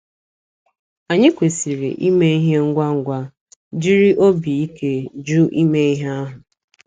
Anyị kwesịrị ime ihe ngwa ngwa, jiri obi ike jụ ime ihe ahụ.